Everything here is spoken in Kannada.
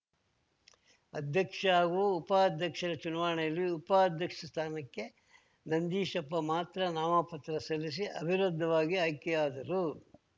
ಅಧ್ಯಕ್ಷ ಹಾಗೂ ಉಪಾಧ್ಯಕ್ಷರ ಚುನಾವಣೆಯಲ್ಲಿ ಉಪಾಧ್ಯಕ್ಷ ಸ್ಥಾನಕ್ಕೆ ನಂದೀಶಪ್ಪ ಮಾತ್ರ ನಾಮಪತ್ರ ಸಲ್ಲಿಸಿ ಅವಿರೋಧವಾಗಿ ಆಯ್ಕೆಯಾದರು